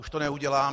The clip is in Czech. Už to neudělám.